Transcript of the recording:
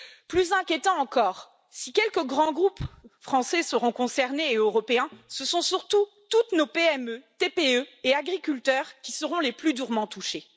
Plus inquiétant encore si quelques grands groupes français et européens seront concernés, ce sont surtout toutes nos PME, TPE et agriculteurs qui seront les plus durement touchés.